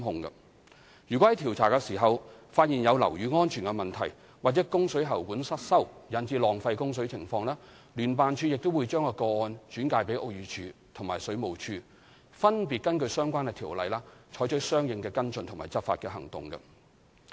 如果在調查時發現樓宇有安全問題，或供水喉管失修引致浪費供水情況，聯辦處亦會將個案轉介屋宇署及水務署，分別根據相關條例，採取相應跟進及執法行動。